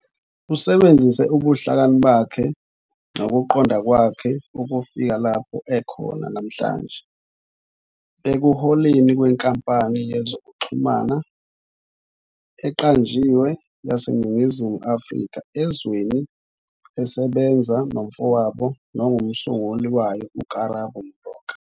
Usebenzise ubuhlakani bakhe nokuqonda kwakhe ukufika lapho ekhona namhlanje, ekuholeni kwenkampani yezokuxhumana eqanjiwe yaseNingizimu Afrika, Ezweni, esebenza nomfowabo nomsunguli wayo uKarabo Moroka.